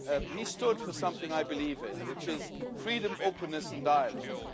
He stood for something I believe in, which is freedom, openness and dialogue.